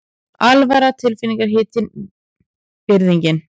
Alvaran tilfinningahitinn, virðingin.